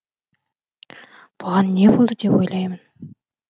бұған не болды деп ойлаймын